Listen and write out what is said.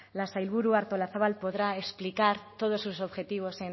la sailburu artolazabal podrá explicar todos sus objetivos